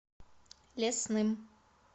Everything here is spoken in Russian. лесным